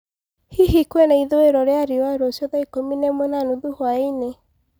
hĩhĩ kwĩnaĩthũĩro rĩa rĩũa rũcĩũ thaaiĩkũmĩ naĩmwe na nũthũ hwaĩnĩ